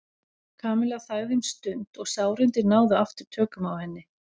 Kamilla þagði um stund og sárindin náðu aftur tökum á henni.